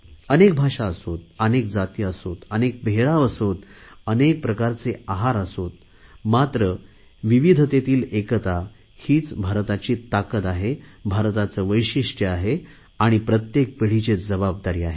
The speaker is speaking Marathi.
अनेक भाषा असोत अनेक जाती असोत अनेक पेहराव असोत अनेक प्रकारचे आहार असोत मात्र विविधतेतील एकता हीच भारताची ताकत आहे भारताचे वैशिष्टय आहे प्रत्येक पिढीची जबाबदारी आहे